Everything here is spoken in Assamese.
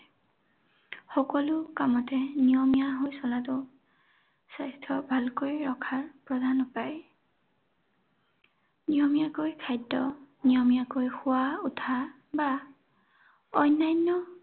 সকলো কামতে নিয়মীয়া হৈ চলাটো স্বাস্থ্য ভাল কৰি ৰখাৰ প্ৰধান উপায়। নিয়মীয়াকৈ খাদ্য, নিয়মীয়াকৈ শুৱা উঠা বা অন্যান্য